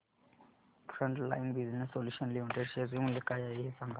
frontline Business Solutions Limited share चे मूल्य काय आहे हे सांगा